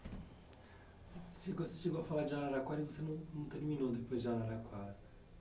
Você chegou a falar de Araraquara e você não terminou depois de Araraquara.